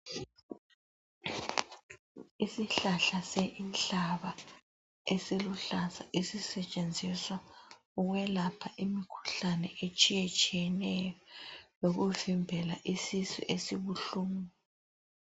Isihlahla senhlaba esiluhlaza esisetshenziswa ukwelapha imikhuhlane etshiyetshiyeneyo lokuvimbela isisu esibuhlungu.